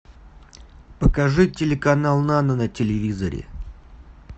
покажи телеканал нано на телевизоре